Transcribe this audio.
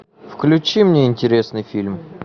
включи мне интересный фильм